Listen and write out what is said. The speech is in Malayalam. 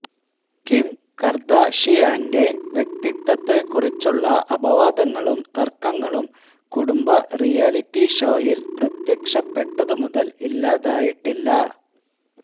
കിം കർദാഷിയാന്റെ വ്യക്തിത്വത്തെക്കുറിച്ചുള്ള അപവാദങ്ങളും തർക്കങ്ങളും കുടുംബ റിയാലിറ്റി ഷോയിൽ പ്രത്യക്ഷപ്പെട്ടതു മുതൽ ഇല്ലാതായിട്ടില്ല